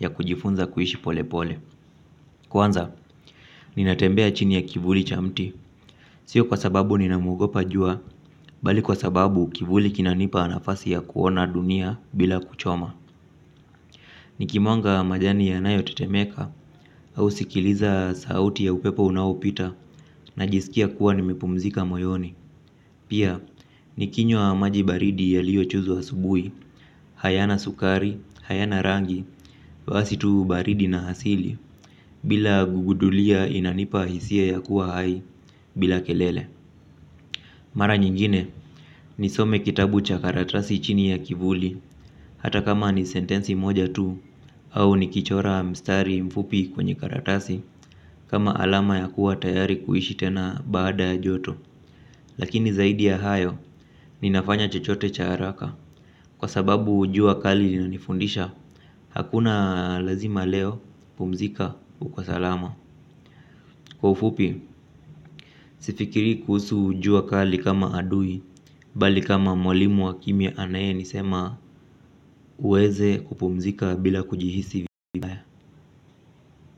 ya kujifunza kuishi pole pole. Kwanza, ninatembea chini ya kivuli chamti. Sio kwa sababu ninamwogopa jua, bali kwa sababu kivuli kinanipa nafasi ya kuona dunia bila kuchoma. Nikimwonga majani ya nayo tetemeka au sikiliza sauti ya upepo unaopita na jisikia kuwa nimepumzika moyoni. Pia, ni kinywa maji baridi ya liyo chuzwa asubuhi, hayana sukari, hayana rangi, wasitu baridi na hasili, bila gugudulia inanipa hisia ya kuwa hai, bila kelele. Mara nyingine, ni some kitabu cha karatasi chini ya kivuli, hata kama ni sentensi moja tu, au ni kichora mstari mfupi kwenye karatasi, kama alama ya kuwa tayari kuishi tena baadaya joto. Lakini zaidi ya hayo ninafanya chochote cha haraka. Kwa sababu jua kali lina nifundisha. Hakuna lazima leo pumzika uko salama. Kwa ufupi, sifikiri kuhusu jua kali kama adui. Bali kama mwalimu wa kimia anaye nisema uweze kupumzika bila kujihisi vibaya.